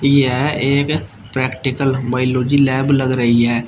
यह एक practical biology lab लग रही है।